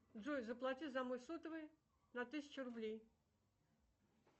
джой заплати за мой сотовый на тысячу рублей